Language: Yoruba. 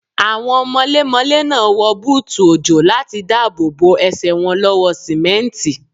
Àwọn mọlémọlé náà wọ búùtù òjò láti dáàbò bo Ẹsẹ̀ wọn lọ́wọ́ sìmẹ́ǹtì.